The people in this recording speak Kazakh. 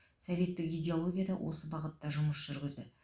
советтік идеология да осы бағытта жұмыс жүргізді